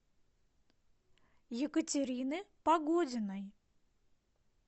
екатерины погодиной